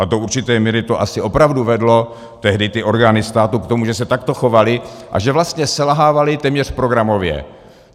A do určité míry to asi opravdu vedlo tehdy ty orgány státu k tomu, že se takto chovaly a že vlastně selhávaly téměř programově.